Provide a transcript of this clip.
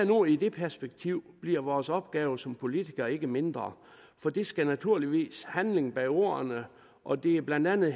nu i det perspektiv bliver vores opgave som politikere ikke mindre for der skal naturligvis handling bag ordene og det er blandt andet